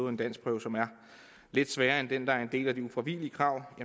en danskprøve som er lidt sværere end den der er en del af de ufravigelige krav